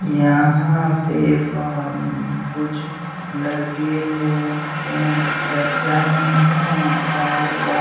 यहाँ पे प कुछ लड़के लोग पेंट कर रहे हैं और वआ--